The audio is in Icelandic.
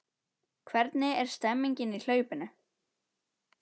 Hvernig er stemningin í hlaupinu?